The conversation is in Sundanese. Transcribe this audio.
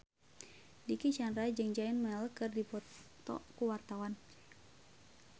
Dicky Chandra jeung Zayn Malik keur dipoto ku wartawan